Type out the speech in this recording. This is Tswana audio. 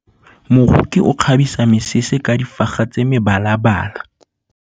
Moroki o kgabisa mesese ka difaga tsa mebalabala.